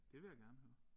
Det vil jeg gerne høre